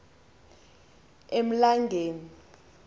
emlangeni